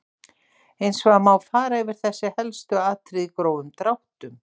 Hins vegar má fara yfir þessi helstu atriði í grófum dráttum.